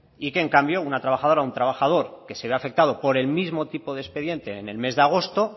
y que en cambio una trabajadora o un trabajador que se vea afectado por el mismo tipo de expediente en el mes de agosto